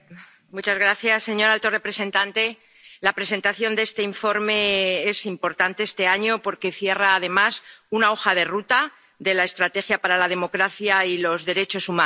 Señora presidenta, señor alto representante, la presentación de este informe es importante este año, porque cierra, además, una hoja de ruta de la estrategia para la democracia y los derechos humanos.